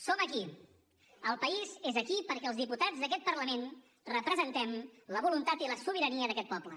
som aquí el país és aquí perquè els diputats d’aquest parlament representem la voluntat i la sobirania d’aquest poble